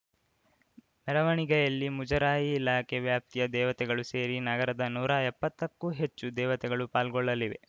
ಮೆರವಣಿಗೆಯಲ್ಲಿ ಮುಜರಾಯಿ ಇಲಾಖೆ ವ್ಯಾಪ್ತಿಯ ದೇವತೆಗಳು ಸೇರಿ ನಗರದ ನೂರಾ ಎಪ್ಪತ್ತಕ್ಕೂ ಹೆಚ್ಚು ದೇವತೆಗಳು ಪಾಲ್ಗೊಳ್ಳಲಿವೆ